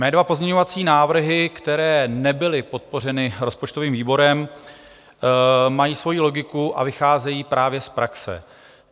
Mé dva pozměňovací návrhy, které nebyly podpořeny rozpočtovým výborem, mají svoji logiku a vycházejí právě z praxe.